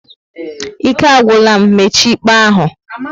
Ike agwụla m, mechie íkpè ahụ!